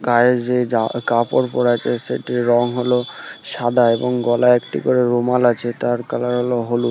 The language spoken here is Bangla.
গায়ে যে জা কাপড় পরে আছে সেটির রং হলো সাদা এবং গলায় একটি করে রুমাল আছে তার কালার হল হলুদ ।